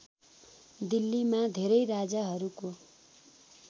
दिल्लीमा धेरै राजाहरूको